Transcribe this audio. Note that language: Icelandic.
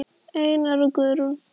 Einar og Guðrún.